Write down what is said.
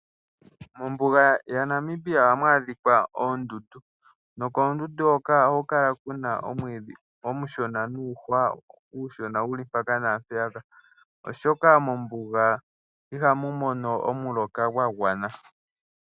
Mombuga yaNamibia ohamu adhika oondundu nokoondundu hoka ohaku kala ku na omwiidhi omushona nuuhwa uushona wuli mpaka naampeyaka oshoka mombuga iha mu mono omuloka gwa gwana.